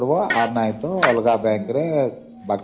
ନହେଲେ ବାକି କାମ ଅଲଗା bank account ରେ କରିବ